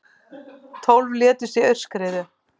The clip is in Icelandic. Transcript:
Tólf létust í aurskriðu